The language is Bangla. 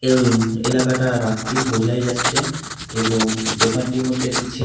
উম এলাকাটা রাত্রির বোঝাই যাচ্ছে এবং দোকানটির মধ্যে একটি ছে --